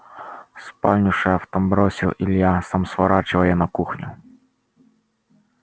в спальню шеф там бросил илья сам сворачивая на кухню